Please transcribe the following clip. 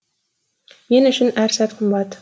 мен үшін әр сәт қымбат